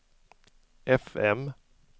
fm